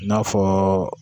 N'a fɔ